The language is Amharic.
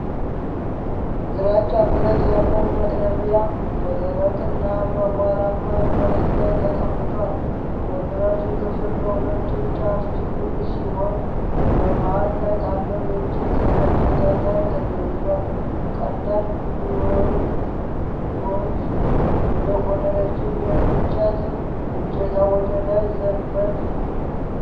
ግራጫ ብረት ያለው መጥረቢያ በደረቅና አቧራማ መሬት ላይ ተቀምጧል። የብረቱ ክፍል በሁለቱም ጫፍ ሹል ሲሆን፣ በመሃል ካለው የእንጨት እጀታ ጋር ተያይዟል። ቀላል ቢዩዊ የሆነው ረዥም የእንጨት እጀታ ወደ ላይ ዘንበል።